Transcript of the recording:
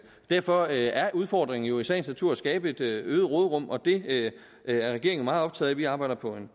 derfor er udfordringen jo i sagens natur at skabe et øget råderum og det er regeringen meget optaget af vi arbejder på en